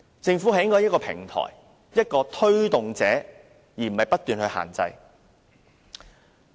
政府理應提供一個平台，作為推動者，而不是不斷作出限制。